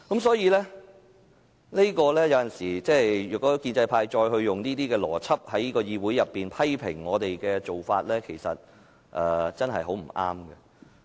所以，如果建制派再用這個邏輯，在議會裏面批評我們的做法，真的很不對。